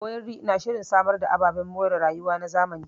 Owerri na shirin samar da ababen more rayuwa na zamani.